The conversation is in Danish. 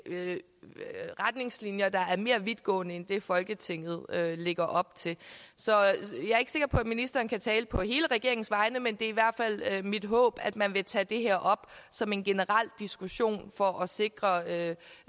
retningslinjer der er mere vidtgående end det folketinget lægger op til så jeg er ikke sikker på at ministeren kan tale på hele regeringens vegne men det er i hvert fald mit håb at man vil tage det her op som en generel diskussion for at sikre